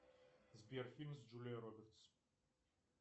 сбер фильм с джулией робертс